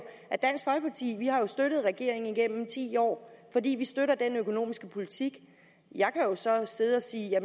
har støttet regeringen igennem ti år fordi vi støtter den økonomiske politik jeg kan jo så sidde og sige at jeg